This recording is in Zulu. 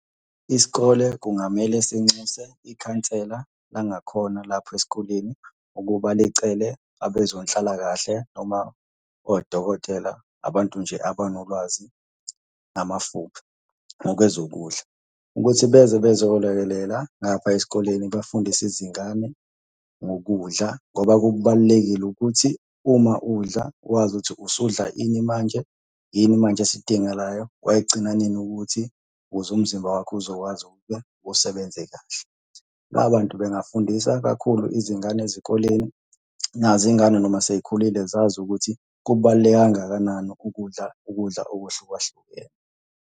Isikole kungamele sinxuse ikhansela langakhona lapho esikoleni ukuba licele abezonhlalakahle noma odokotela, abantu nje abanolwazi ngamafuphi, ngokwezokudla, ukuthi beze bezolekelela ngapha esikoleni bafundise izingane ngokudla, ngoba kubalulekile ukuthi uma udla wazi ukuthi usudla ini manje yini manje esidingakalayo. Wayigcina nini ukuthi ukuze umzimba wakho uzokwazi ukuthi-ke usebenze kahle. Labo bantu bengafundisa kakhulu izingane ezikoleni. Nazo iy'ngane noma sey'khulile zazi ukuthi kubaluleke kangakanani ukudla ukudla okuhlukahlukene.